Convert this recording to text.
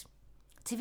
TV 2